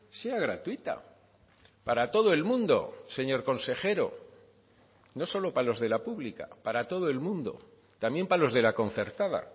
sea gratuita para todo el mundo señor consejero no solo para los de la pública para todo el mundo también para los de la concertada